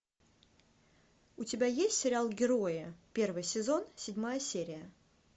у тебя есть сериал герои первый сезон седьмая серия